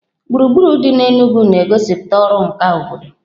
Gburugburu dị n'Enugwu na-egosipụta ọrụ nka obodo.